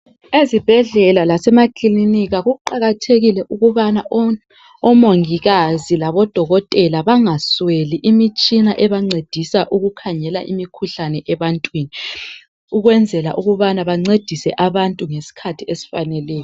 Ezibhedlela lasemakilinika kuqakathekile ukubana omongikazi labodokotela bangasweli imitshina ebancedisa ukukhangela imikhuhlane ebantwini ukwenzela ukubana bancedise abantu ngesikhathi esifaneleyo.